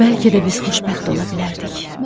Bəlkə də biz xoşbəxt ola bilərdik.